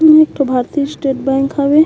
ए ह एक ठो भारतीस्त बैंक हवे।